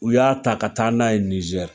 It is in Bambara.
U y'a ta ka taa n'a ye Nizɛri